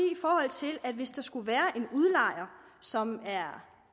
at hvis der skulle være en udlejer som er